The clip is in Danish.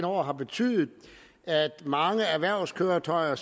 år har betydet at mange erhvervskøretøjer